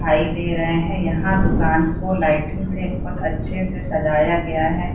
दिखाई दे रहे है यहाँ दुकान को लाइटो से बहुत अच्छे से सजाया गया है।